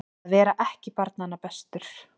Að vera ekki barnanna bestur